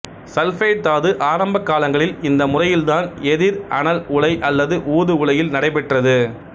sulphide தாது ஆரம்பகாலங்களில் இந்த முறையில்தான் எதிர் அனல் உலை அல்லது ஊது உலையில் நடைபெற்றது